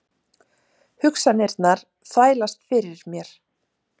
Hugsanirnar þvælast fyrir mér.